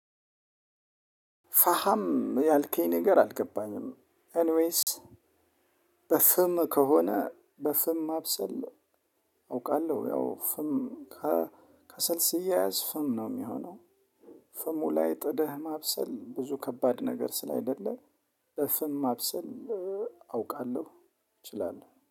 ፋሃም ያልከኝ ነገር አልገባኝም። ኤኒ ወይስ? በፍም ከሆነ በፍም ማብሰል አውቃለሁ። ያው ፍም ከሰልስ ሲያያዝ ፍም ነው የሚሆነው። ፍሙ ላይ ጥደህ ማብሰል ብዙ ከባድ ነገር ስላ አይደለም። በፍም ማብሰን አውቃለሁ እችላለሁ